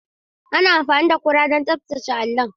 Ana amfani da ƙura don tsaftace allon.